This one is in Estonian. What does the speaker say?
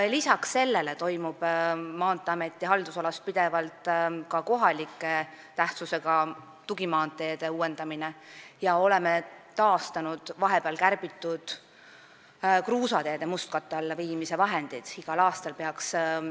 Lisaks sellele toimub Maanteeameti haldusalas pidevalt ka kohaliku tähtsusega tugimaanteede uuendamine ja oleme taastanud vahepeal kärbitud kruusateede mustkatte alla viimise summad.